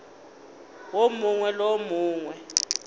wo mongwe le wo mongwe